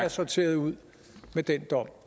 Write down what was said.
sorteret ud med den dom